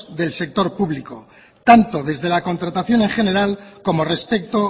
del sector público tanto desde la contratación en general como respecto